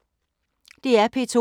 DR P2